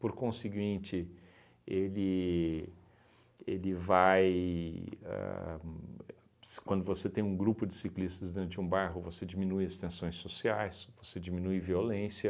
Por conseguinte, ele ele vai ahn... Se quando você tem um grupo de ciclistas dentro de um bairro, você diminui as tensões sociais, você diminui violência.